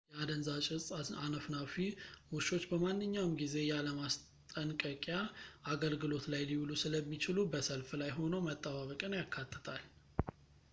የአደንዛዥ እፅ አነፍናፊ ውሾች በማንኛውም ጊዜ ያለ ማስጠንቅያ አገልግሎት ላይ ሊውሉ ስለሚችሉ በሰልፍ ላይ ሆኖ መጠባበቅን ያካትታል